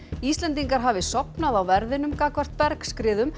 Íslendingar hafi sofnað á verðinum gagnvart